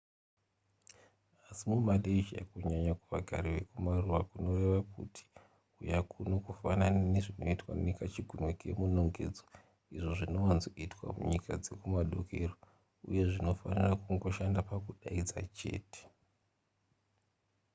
asi mumalaysia kunyanya kuvagari vekumaruwa kunoreva kuti huya kuno kufanana nezvinoitwa nekachigunwe kemunongedzo izvo zvinowanzoitwa munyika dzekumadokero uye zvinofanira kungoshanda pakudaidza chete